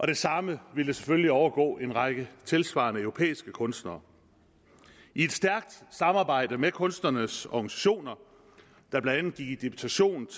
det samme ville selvfølgelig overgå en række tilsvarende europæiske kunstnere i et stærkt samarbejde med kunstnernes organisationer der blandt i deputation